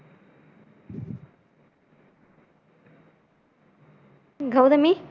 Gautami